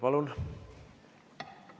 Palun!